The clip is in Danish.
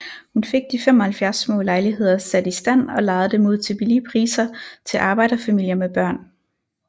Hun fik de 75 små lejligheder sat i stand og lejede dem ud til billige priser til arbejderfamilier med børn